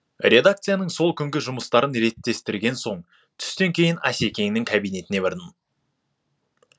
редакцияның сол күнгі жұмыстарын реттестірген соң түстен кейін асекеңнің кабинетіне бардым